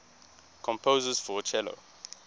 composers for cello